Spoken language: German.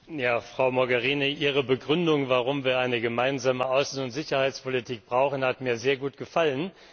Herr Präsident! Frau Mogherini, Ihre Begründung, warum wir eine gemeinsame Außen und Sicherheitspolitik brauchen, hat mir sehr gut gefallen.